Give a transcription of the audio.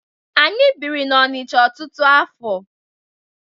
Anyị biri n'Ọnicha ọtụtụ afọ.